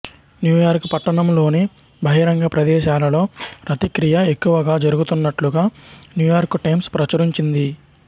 New York పట్టణంలోని బహిరంగ ప్రదేశాలలో రతిక్రియ ఎక్కువగా జరుగున్నట్లుగా న్యూయార్క్ టైమ్స్ ప్రచురించింది